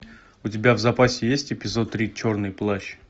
у тебя в запасе есть эпизод три черный плащ